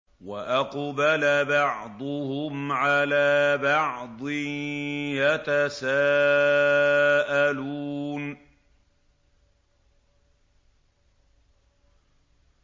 وَأَقْبَلَ بَعْضُهُمْ عَلَىٰ بَعْضٍ يَتَسَاءَلُونَ